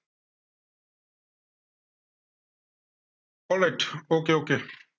alright okay okay